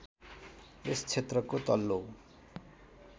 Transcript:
यस क्षेत्रको तल्लो